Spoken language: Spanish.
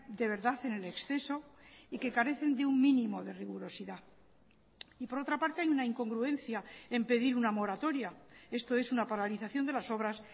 de verdad en el exceso y que carecen de un mínimo de rigurosidad y por otra parte hay una incongruencia en pedir una moratoria esto es una paralización de las obras